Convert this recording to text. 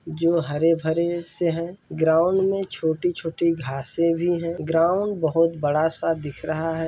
जो हरे-भरे से है ग्राउंड मे छोटी-छोटी घासें भी है ग्राउंड बहोत बड़ा सा दिख रहा है।